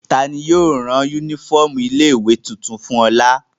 Ta ni yóò rán únífọ́ọ́mù ilé-ìwé tuntun fún Ọlà?